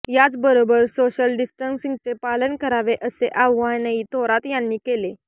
याचबरोबर सोशल डिस्टन्सिंगचे पालन करावे असे आवाहनही थोरात यांनी केले